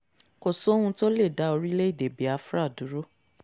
kò sóhun tó lè dá orílẹ̀‐èdè biafra dúró